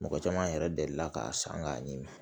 Mɔgɔ caman yɛrɛ delila k'a san k'a ɲimi